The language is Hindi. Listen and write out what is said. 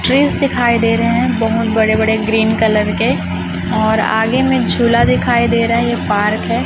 ट्रीस दिखाई दे रहे हैं बहुत बड़े बड़े ग्रीन कलर के और आगे में झूला दिखाई दे रहा है ये पार्क है।